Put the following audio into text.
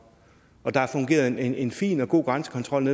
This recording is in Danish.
der fungerede en en fin og god grænsekontrol